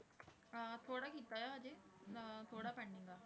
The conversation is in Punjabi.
ਅਹ ਥੋੜ੍ਹਾ ਕੀਤਾ ਹੈ ਹਜੇ ਅਹ ਥੋੜ੍ਹਾ pending ਆ।